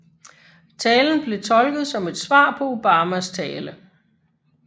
Talen blev tolket som et svar på Obamas tale